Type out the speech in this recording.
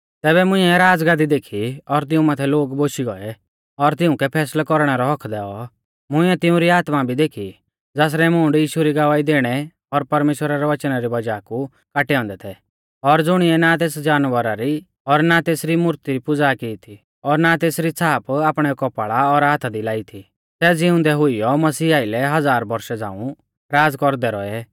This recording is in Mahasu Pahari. तैबै मुंइऐ राज़गादी देखी और तिऊं माथै लोग बोशी गौऐ और तिउंकै फैसलै कौरणै रौ हक्क दैऔ मुंइऐ तिउंरी आत्मा भी देखी ज़ासरै मूंड यीशु री गवाही दैणै और परमेश्‍वरा रै वचना री वज़ाह कु काटै औन्दै थै और ज़ुणिऐ ना तेस जानवरा री और ना तेसरी मूर्ती री पुज़ा की थी और ना तेसरी छ़ाप आपणै कौपाल़ा और हाथा दी लाई थी सै ज़िउंदै हुइयौ मसीह आइलै हज़ार बौरशा झ़ांऊ राज़ कौरदै रौऐ